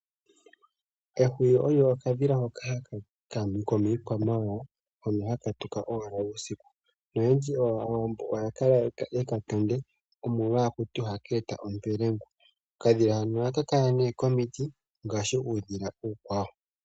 Ehwiyu olyo okadhila hoka komiikwamawawa hono haka tuka uusiu . Aawambo oyendji oya kala yekatonde omolwa ohakutiwa ohaka eta ompwelengu. Okadhila hano ohaka kala ne komiti ngaashi uudhila uukwawo.